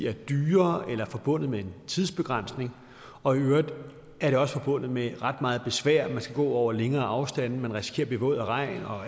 er dyre eller forbundet med en tidsbegrænsning og i øvrigt også forbundet med ret meget besvær man skal gå over længere afstande man risikerer at blive våd af regn og